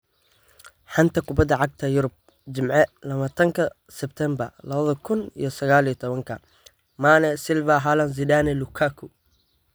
Xanta Kubadda Cagta Yurub Jimce labatanka sebtembaa laba kuun iyo sagal iyo tobanka: Mane, Silva, Haaland, Zidane, Lukaku